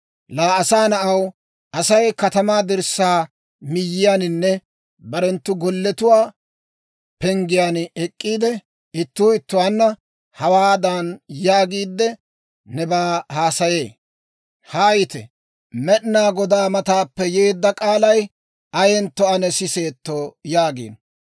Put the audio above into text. «Laa asaa na'aw, Asay katamaa dirssaa miyiyaaninne barenttu golletuwaa penggiyaan ek'k'iide, ittuu ittuwaanna hawaadan yaagiide, nebaa haasayee; ‹Haayite; Med'inaa Godaa mataappe yeedda k'aalay ayentto ane siseetto› yaagiino.